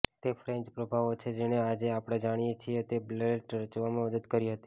તે ફ્રેન્ચ પ્રભાવો છે જેણે આજે આપણે જાણીએ છીએ તે બેલેટ રચવામાં મદદ કરી હતી